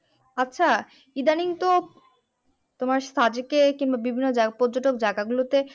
আচ্ছা ইদানিং তো তোমার সাজেকে কিংবা বিভিন্ন পর্যটক জায়গা গুলোতে